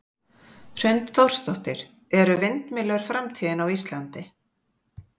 Hrund Þórsdóttir: Eru vindmyllur framtíðin á Íslandi?